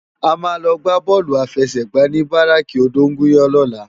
A má lò gbá bòlú áfèsègbá ni báráki ódóngúyàn lòlá